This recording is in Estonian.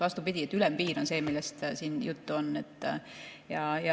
Vastupidi, ülempiir on see, millest siin juttu on.